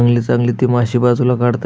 चांगले चांगले ते मासे ते बाजूला कडतायेत --